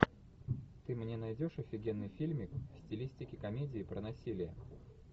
ты мне найдешь офигенный фильмик в стилистике комедии про насилие